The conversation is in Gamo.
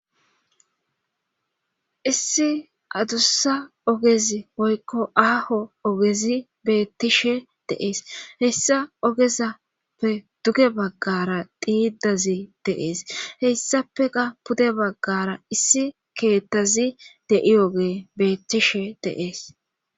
Issi adussa ogezi oykko aaho ogezi beettishe de7ees hessa ogezappe duge baggara xiidazi de7ees heyssapeka pude baggara issi keettazi dei oge beettishe de7ees